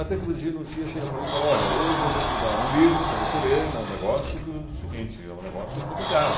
Até que o Virgínio um dia chega para mim e fala, olha, hoje eu vou te dar um livro para você ler, mas o negócio é o seguinte, é um negócio complicado.